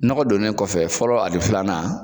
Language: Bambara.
Nɔgɔ don ne kɔfɛ fɔlɔ ani filanan